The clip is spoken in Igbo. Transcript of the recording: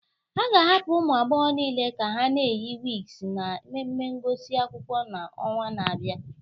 A ga-ahapụ ụmụ agbọghọ niile ka ha na-eyi wigs na mmemme ngụsị akwụkwọ ha n'ọnwa na-abịa